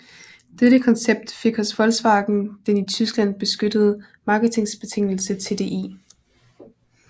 Dette koncept fik hos Volkswagen den i Tyskland beskyttede marketingbetegnelse TDI